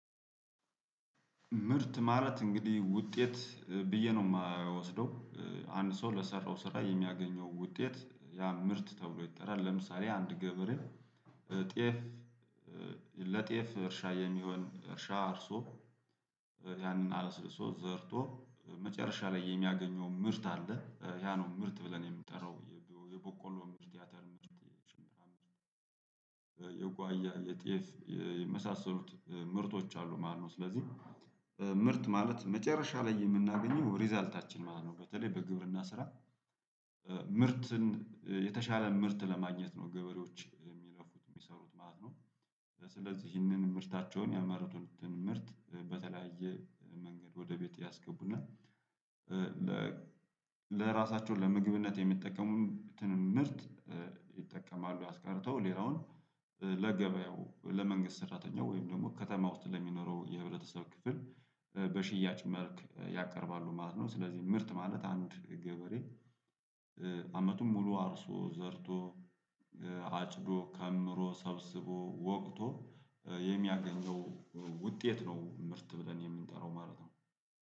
ምርት ማለት እንግዲህ ውጤት ብዬ ነው የማያወስደው። አንድ ሰው ለሰራው ስራ የሚያገኘው ውጤት ያ ምርት ተብሎ ይጠራል። ለምሳሌ አንድ ገበሬን እ ጤፍ። እ ለጤፍ እርሻ የሚሆን እርሻ አርሶ ያንን አለስልሶ ዘርቶ መጨረሻ ላይ የሚያገኘው ምርት አለ ያ ነው። ምርት ብለን የምጠራው የበቆሎ ምርት ያተር የጓያ የጤፍ የመሳሰሉት ምርቶች አሉ ማለት ነው። ስለዚህ ምርት ማለት መጨረሻ ላይ የምናገኘው ሪዛልታችን ማለት ነው። በተለይ በግብርና ስራ ምርትን የተሻለ ምርት ለማግኘት ነው ገበሬዎች የሚለፉት የሚሰሩት ማለት ነው። ስለዚህ ይህንን ምርታቸውን ያመረቱትን ምርት በተለያየ መንገድ ወደ ቤት ያስገቡ እና እ ለራሳቸው ለምግብነት የሚጠቀሙትን ምርት እ ይጠቀማሉ። አስቀርተው ሌላውን ለገበያው ለመንግስት ሰራተኛው ወይም ደግሞ ከተማ ውስጥ ለሚኖረው የህብረተሰብ ክፍል በሽያጭ መልክ ያቀርባሉ ማለት ነው። ስለዚህ ምርት ማለት አንድ ገበሬ እ አመቱን ሙሉ አርሶ ዘርቶ አጭዶ ከምሮ ሰብስቦ ወቅቶ የሚያገኘው ውጤት ነው። ምርት ብለን የምንጠራው ማለት ነው